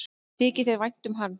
Þykir þér vænt um hann?